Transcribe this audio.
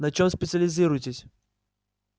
на чем специализируетесь